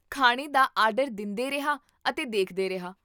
ਖਾਣੇ ਦਾ ਆਰਡਰ ਦਿੰਦੇਰਿਹਾ ਅਤੇ ਦੇਖਦੇ ਰਿਹਾ